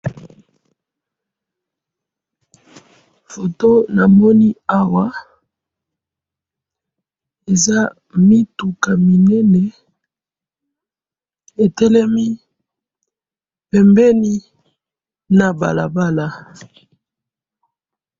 photo namoni awa, eza mituka minene, etelemi pembeni na balabala